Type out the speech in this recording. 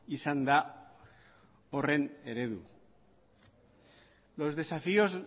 izan da horren eredu los desafíos